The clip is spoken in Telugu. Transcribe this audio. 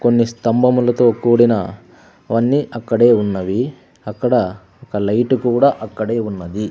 కొన్ని స్తంభములతో కూడిన అవన్నీ అక్కడే ఉన్నవి అక్కడ ఒక లైటు కూడా అక్కడే ఉన్నవి.